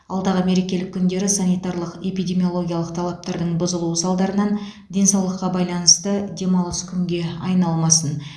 алдағы мереке күндері санитарлық эпидемиологиялық талаптардың бұзылуы салдарынан денсаулыққа байланысты демалыс күнге айналмасын